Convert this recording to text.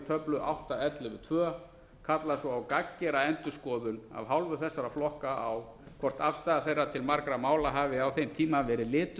töflu átta til ellefu til tvo kalla svo á gagngera endurskoðun af hálfu þessara flokka á hvort afstaða þeirra til margra mála hafi á þeim tíma verið lituð